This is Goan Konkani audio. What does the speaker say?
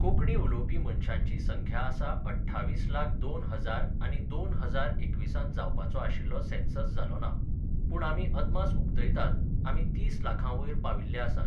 कोंकणी उलोवपी मनशांची संख्या आसा अठ्ठावीस लाख दोन हजार आनी दोन हजार एकविसांत जावपाचो आशिल्लो सेन्सस जालो ना. पूण आमी अदमास उक्तायतात, आमी तीस लाखा वयर पाविल्ले आसात.